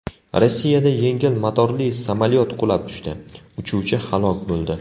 Rossiyada yengil motorli samolyot qulab tushdi, uchuvchi halok bo‘ldi.